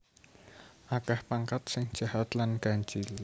Akeh pangkat sing jahat lan ganjil